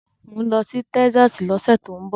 Mò ń lọ sí Texas lọ́sẹ̀ tó ń bọ̀.